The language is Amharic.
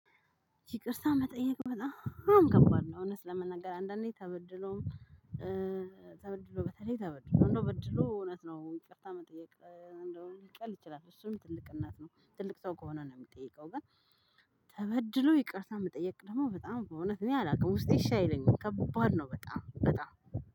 ይቅርታ መጠየቅ በጣም ከባድ ነው። እውነት ለመናገር አንዳንዴ ተበድሎም ተበድሎ በተለይ ተበድሎ እንደው በድሎ እውነት ነው። ይቅርታ መጠየቅ እንደው ሊቀል ይችላል እሱም ትልቅነት ነው። ትልቅ ሰው ከሆነ ነው የምጠይቀው። ግን። ተበድሎ ይቅርታ መጠየቅ ደግሞ በጣም በእውነት እኔ አላውቅም ውስጤ እሺ አይለኝም ከባድ ነው። በጣም በጣም